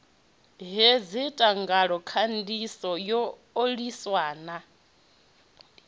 hedzi thangelakhandiso yo oliwa na